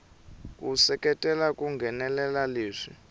ku seketela ku nghenelela leswi